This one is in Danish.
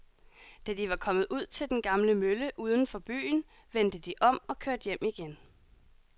Da de var kommet ud til den gamle mølle uden for byen, vendte de om og kørte hjem igen.